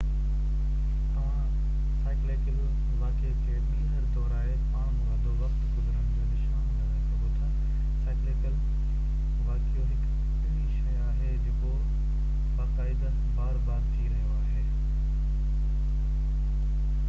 توهان سائيڪليڪل واقعي کي ٻيهر دهرائي پاڻمرادو وقت گذرڻ جو نشان لڳائي سگهو ٿا سائيڪليڪل واقعيو هڪ اهڙي شي آهي جيڪو باقائده بار بار ٿي رهي آهي